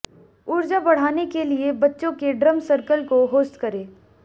ऊर्जा बढ़ाने के लिए बच्चों के ड्रम सर्कल को होस्ट करें